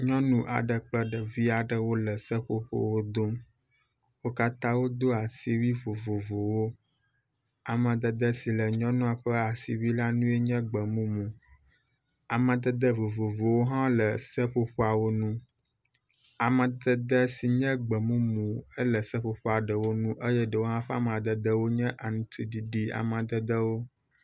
Nyɔnu aɖe kple ɖeviwo le seƒoƒo dom , wo katã wodo asiwui vovovowo, amadede si le nyɔnu ƒe asiwui ŋu lae nye egbemumu, amadede vovovowo hã wole seƒoƒoawo ŋu, amadede sin ye gbemumu la le seƒoƒoa ɖewo ŋu eye ɖewo hã ƒe amadede nye anuti ɖiɖi amadedewo